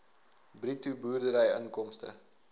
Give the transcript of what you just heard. bruto boerdery inkomste